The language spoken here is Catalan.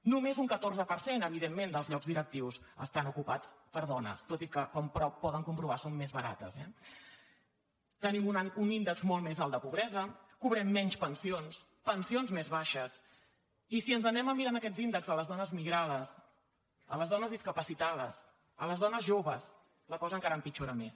només un catorze per cent evident·ment dels llocs directius estan ocupats per dones tot i que com poden comprovar són més barates eh tenim un índex molt més alt de pobresa cobrem menys pensions pensions més baixes i si ens n’anem a mirar aquests índexs a les dones migrades a les dones discapacitades a les dones joves la cosa encara empit·jora més